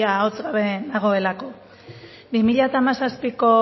ia ahots gabe nagoelako bi mila hamazazpiko